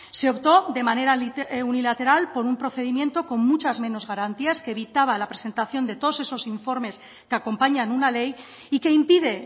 se optó de manera unilateral por un procedimiento con muchas menos garantías que evitaba la presentación de todos esos informes que acompañan una ley y que impide